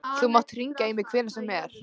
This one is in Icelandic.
Þú mátt hringja í mig hvenær sem er.